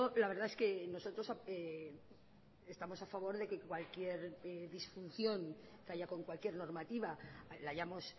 la verdad es que nosotros estamos a favor de que cualquier disfunción que haya con cualquier normativa la hayamos